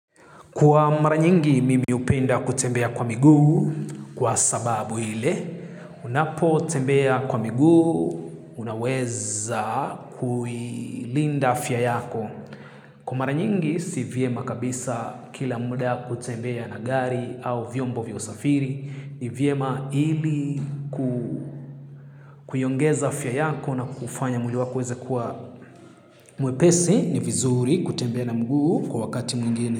Kwa mara nyingi, mimi hupenda kutembea kwa miguu kwa sababu ile. Unapotembea kwa miguu, unaweza kuilinda afya yako. Kwa mara nyingi, si vyema kabisa kila muda kutembea na gari au vyombo vya usafiri. Ni vyema ili kuiongeza afya yako na kufanya mwili wako uweze kuwa mwepesi ni vizuri kutembea na mguu kwa wakati mwingine.